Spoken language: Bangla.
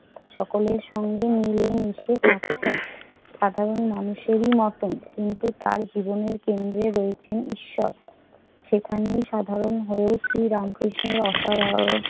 সকলের সঙ্গে মিলেমিশে থাকছেন সাধারণ মানুষেরই মত। কিন্তু তার জীবনের কেন্দ্রে রয়েছেন ঈশ্বর। সেখানেই সাধারণ হয়ে শ্রীরামকৃষ্ণের অসাধারণ